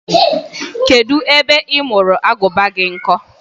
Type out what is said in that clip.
Kedụ ebe ị mụrụ Agụba gị nkọ?